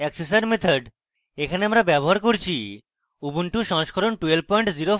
assessor method এখানে আমরা ব্যবহৃত করছি উবুন্টু সংস্করণ 1204